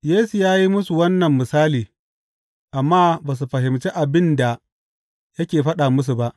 Yesu ya yi musu wannan misali, amma ba su fahimci abin da yake faɗa musu ba.